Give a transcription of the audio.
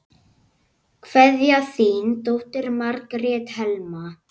Kveðja, þín dóttir, Margrét Helma.